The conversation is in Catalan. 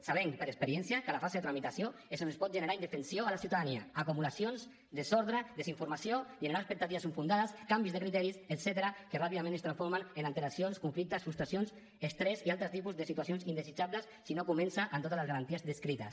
sabem per experiència que la fase de tramitació és on es pot generar indefensió a la ciutadania acumulacions desordre desinformació generar expectatives infundades canvis de criteri etcètera que ràpidament es transformen en alteracions conflictes frustracions estrès i altres tipus de situacions indesitjables si no comença amb totes les garanties descrites